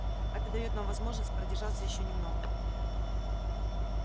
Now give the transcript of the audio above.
это даёт нам возможность продержаться ещё немного